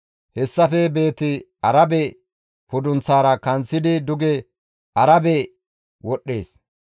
Hessafe Beeti-Arabe pudunththaara kanththidi duge Arabe wodhdhees.